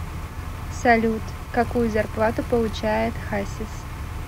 салют какую зарплату получает хасис